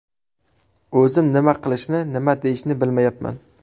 O‘zim nima qilishni, nima deyishni bilmayapman.